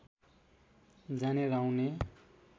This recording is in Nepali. जाने र आउने